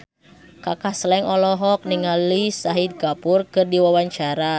Kaka Slank olohok ningali Shahid Kapoor keur diwawancara